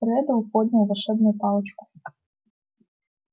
реддл поднял волшебную палочку